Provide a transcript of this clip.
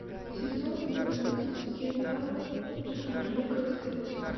сезон двенадцать сериала анжелика стс